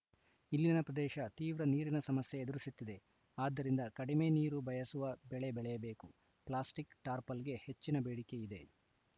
ಇಲ್ಲಿನ ಪ್ರದೇಶ ತೀವ್ರ ನೀರಿನ ಸಮಸ್ಯೆ ಎದುರಿಸುತ್ತಿದೆ ಆದ್ದರಿಂದ ಕಡಿಮೆ ನೀರು ಬಯಸುವ ಬೆಳೆ ಬೆಳೆಯಬೇಕು ಪ್ಲಾಸ್ಟಿಕ್‌ ಟಾರ್ಪಲ್‌ಗೆ ಹೆಚ್ಚಿನ ಬೇಡಿಕೆ ಇದೆ